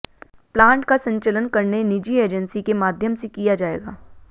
plant का संचलन करने निजी एजेंसी के माध्यम से किया जाएगा